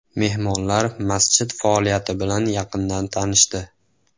Mehmonlar masjid faoliyati bilan yaqindan tanishdi.